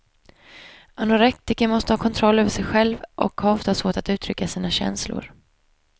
Anorektiker måste ha kontroll över sig själv och har ofta svårt att uttrycka sina känslor.